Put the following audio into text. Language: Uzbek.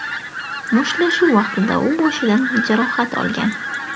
Mushtlashuv vaqtida u boshidan jarohat olgan.